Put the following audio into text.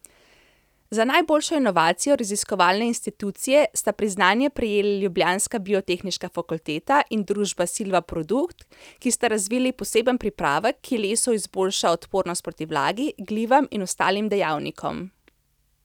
Za najboljšo inovacijo raziskovalne institucije sta priznanje prejeli ljubljanska biotehniška fakulteta in družba Silvaprodukt, ki sta razvili poseben pripravek, ki lesu izboljša odpornost proti vlagi, glivam in ostalim dejavnikom.